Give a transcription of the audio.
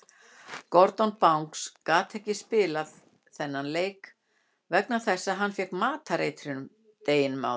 Gordon Banks gat ekki spilað þennan leik vegna þess að hann fékk matareitrun deginum áður.